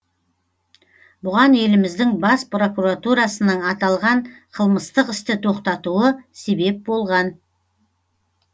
бұған еліміздің бас прокуратурасының аталған қылмыстық істі тоқтатуы себеп болған